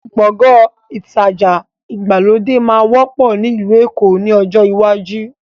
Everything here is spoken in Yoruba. Gbọ̀ngán ìtajà ìgbàlódé máa wọ́pọ̀ ni ilu Èkó ni ọjọ́ iwájú